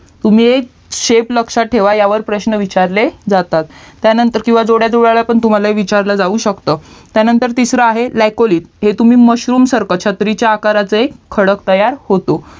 तुम्ही हे shape लक्ष्यात ठेवा ह्यावर प्रश्न विचारले जातात त्यानंतर जोड्या जुळवा तुम्हाला विचारलं जाऊ शकतं त्यानंतर तिसरा आहे LYCOLI हे mushroom सारखा छत्रीच्या आकाराचा एक खडक तयार होतो